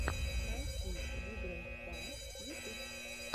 найти вигрэндпа ютуб